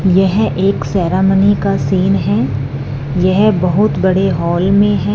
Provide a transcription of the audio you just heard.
यह एक सेरामनी का सीन है यह बहुत बड़े हॉल में हैं--